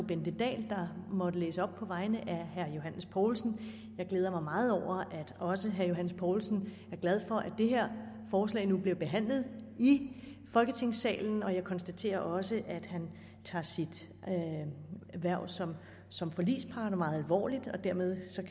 bente dahl der måtte læse op på vegne af herre johs poulsen og jeg glæder mig meget over at også herre johs poulsen er glad for at det her forslag nu bliver behandlet i folketingssalen jeg konstaterer også at han tager sit hverv som som forligspart meget alvorligt og dermed